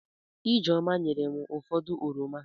Ijeoma nyerem ụfọdụ oroma.